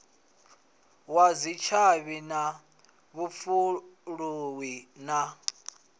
wa dzitshavhi na vhupfuluwi na